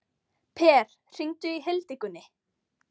Per, hringdu í Hildigunni.